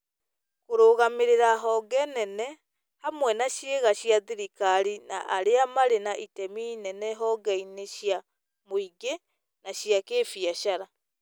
kũrũgamĩrĩra honge nene, hamwe na ciĩga cia thirikari na arĩa marĩ na itemi inene honge-inĩ cia mũingĩ na cia kĩbiacara